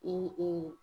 I